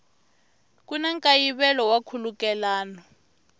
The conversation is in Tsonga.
ku na nkayivelo wa nkhulukelano